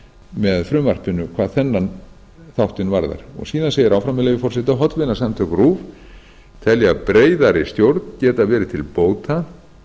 með frumvarpinu hvað þennan þáttinn varðar síðan segir áfram með leyfi forseta hollvinasamtök rúv telja breiðari stjórn geta verið til bóta